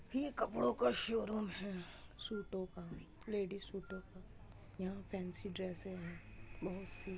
ये कपड़ों का शोरूम है सूटों का लेडीस सूटों का। यहाँ फैंसी ड्रेसे हैं बहोत सी।